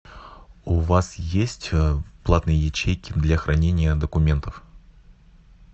у вас есть платные ячейки для хранения документов